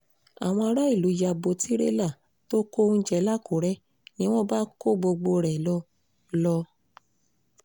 àwọn aráàlú ya bo tirẹ̀lá tó kó oúnjẹ lakúrẹ́ ni wọ́n bá kó gbogbo ẹ̀ lọ lọ